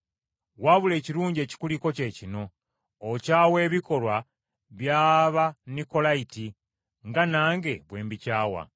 Wabula ekirungi ekikuliko kye kino: okyawa ebikolwa by’Abanikolayiti nga nange bwe mbikyawa.